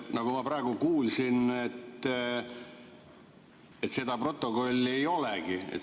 Nagu ma praegu kuulsin, seda protokolli ei olegi.